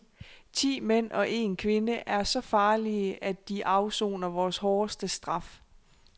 Ti mænd og en kvinde er så farlige, at de afsoner vores hårdeste straf.